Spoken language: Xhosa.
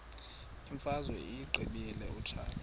imfazwe uyiqibile utshaba